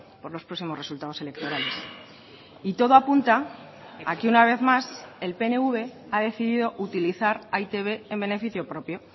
por los próximos resultados electorales y todo apunta a que una vez más el pnv ha decidido utilizar a e i te be en beneficio propio